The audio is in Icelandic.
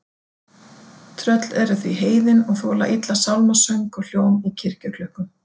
Tröll eru því heiðin og þola illa sálmasöng og hljóm í kirkjuklukkum.